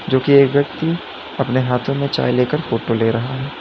जो की एक व्यक्ति अपने हाथो में चाय लेकर फोटो ले रहा है।